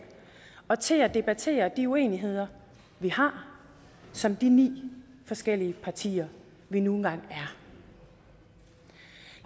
og til at debattere de uenigheder vi har som de ni forskellige partier vi nu engang er